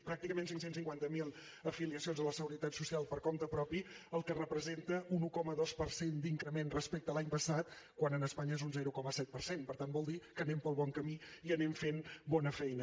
pràcticament cinc cents i cinquanta miler afiliacions a la seguretat social per compte propi que representa un un coma dos per cent d’increment respecte a l’any passat quan a espanya és un zero coma set per cent per tant vol dir que anem pel bon camí i anem fent bona feina